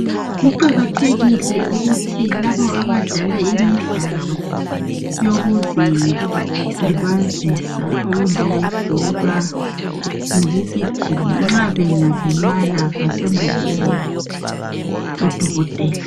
Kuqakathekile ukuthi laba abadlala imidlalo yokuzilibazisa okunjenge bhora lokugijima, nxa bengalimala basondelele o dokotela